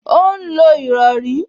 Ó ń lo ìrọrí